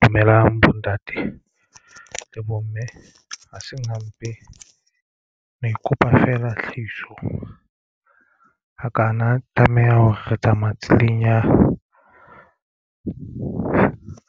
Dumelang bontate le bomme ha seng hampe mo ikopa feela tlhahiso a ka a tlameha hore re tsamaye tseleng ya